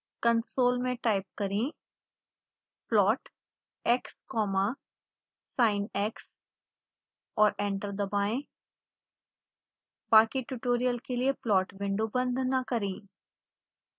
console में type करें plotx comma sinx और एंटर दबाएं